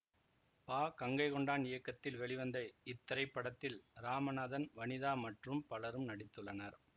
பா கங்கை கொண்டான் இயக்கத்தில் வெளிவந்த இத்திரைப்படத்தில் ராமநாதன் வனிதா மற்றும் பலரும் நடித்துள்ளனர்